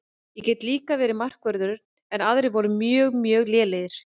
Ég get líka varið markvörðinn en aðrir voru mjög mjög lélegir.